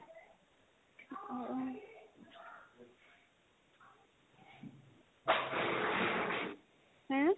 এহ্